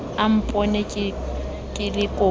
a mpone ke le koko